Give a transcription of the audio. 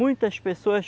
Muitas pessoas,